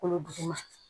Kolo duguma